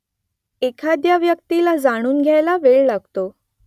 एखाद्या व्यक्तीला जाणून घ्यायला वेळ लागतो